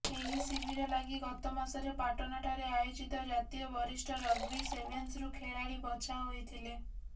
ଏହି ଶିବିର ଲାଗି ଗତମାସରେ ପାଟନାଠାରେ ଆୟୋଜିତ ଜାତୀୟ ବରିଷ୍ଠ ରଗ୍ବି ସେଭେନ୍ସରୁ ଖେଳାଳି ବଛା ହୋଇଥିଲେ